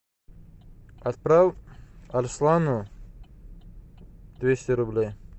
отправь арслану двести рублей